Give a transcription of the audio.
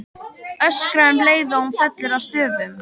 Öskra um leið og hún fellur að stöfum.